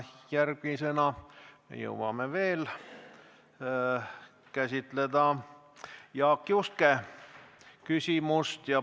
Me jõuame veel käsitleda Jaak Juske küsimust.